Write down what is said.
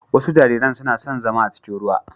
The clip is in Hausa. Wasu jariran suna son zama a cikin ruwa.